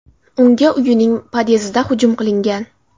Unga uyining pod’ezdida hujum qilingan.